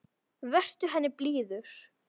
Vertu henni blíður.